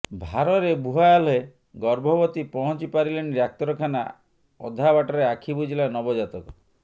ଭାରରେ ବୁହା ହେଲେ ଗର୍ଭବତୀ ପହଂଚି ପାରିଲେନି ଡାକ୍ତରଖାନା ଅଧାବାଟରେ ଆଖି ବୁଜିଲା ନବଜାତକ